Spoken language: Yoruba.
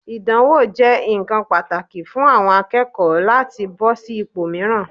Ìdánwò jẹ́ ǹkan pàtàkì fún àwọn akẹ́kọ̀ọ́ láti bọ́ sí ipò mìíràn.